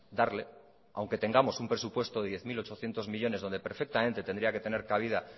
darle aunque tengamos un presupuesto de diez mil ochocientos millónes donde perfectamente tendría que tener cabida